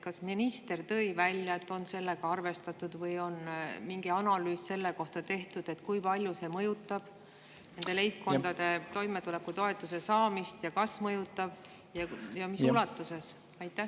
Kas minister ütles, et sellega on arvestatud, või on tehtud mingi analüüs selle kohta, kui palju see mõjutab nende leibkondade toimetulekutoetuse saamist, kas mõjutab ja mis ulatuses?